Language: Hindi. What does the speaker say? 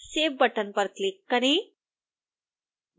save बटन पर क्लिक करें